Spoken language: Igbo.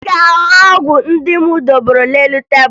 Ị ga-ahụ ọgwụ ndị m debere n'elu tebulu